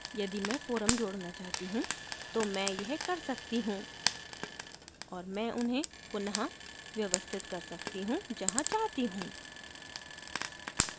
यदि मैं forum जोडना चाहती हूँ तो मैं यह कर सकती हूँ और मैं उन्हें पुन: व्यवस्थित कर सकती हूँ जहाँ चाहती हूँ